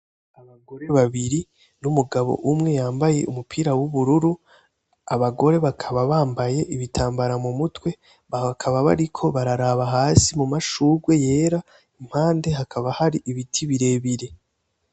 Abagore babiri n'umugabo umwe yambaye umupira w'ubururu, abagore bakaba bambaye ibitambara mu mutwe bakaba bariko bararaba hasi mumashurwe yera impande hakaba hari ibiti birebire.